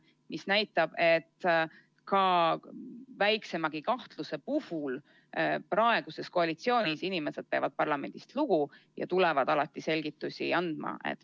See näitab, et ka väiksemagi kahtluse puhul praeguses koalitsioonis inimesed peavad parlamendist lugu ja tulevad alati selgitusi andma.